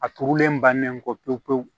A turulen bannen kɔ pewu pewu